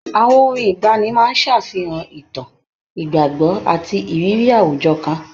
Àwọn orin ìgbaanì máa ń ṣàfihàn ìtàn, ìgbàgbọ́ àti ìrírí àwùjọ kan.